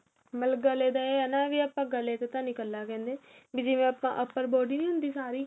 ਮਤਲਬ ਗਲੇ ਦੇ ਹੈਨਾ ਵੀ ਆਪਾ ਗਲੇ ਦੇ ਤਾਂ ਨਹੀਂ ਇੱਕਲਾ ਕਹਿੰਦੇ ਜਿਵੇਂ ਆਪਾ upper body ਨਹੀਂ ਹੁੰਦੀ ਸਾਰੀ